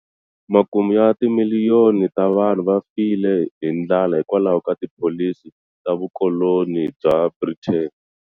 Makume ya timiliyoni ta vanhu va file hi ndlala hikwalaho ka tipholisi ta vukoloni bya Britain.